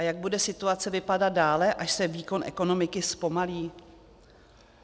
A jak bude situace vypadat dále, až se výkon ekonomiky zpomalí?